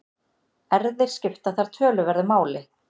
Erfðir skipta þar töluverðu máli.